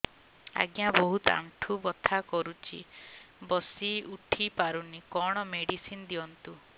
ଆଜ୍ଞା ବହୁତ ଆଣ୍ଠୁ ବଥା କରୁଛି ବସି ଉଠି ପାରୁନି କଣ ମେଡ଼ିସିନ ଦିଅନ୍ତୁ